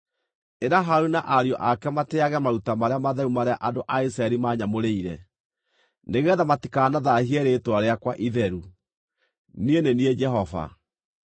“Ĩra Harũni na ariũ ake matĩĩage maruta marĩa matheru marĩa andũ a Isiraeli maanyamũrĩire, nĩgeetha matikanathaahie rĩĩtwa rĩakwa itheru. Niĩ nĩ niĩ Jehova.